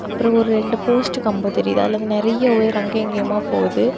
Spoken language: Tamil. அப்ரோ ஒரு ரெண்டு போஸ்ட் கம்போ தெரியுது அதுல இருந்து நெறைய ஒயர் அங்க இங்கயுமா போகுது.